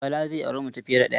Bala zai auri mace fiye da ɗaya.